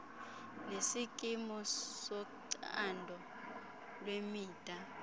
nesikimu socando lwemida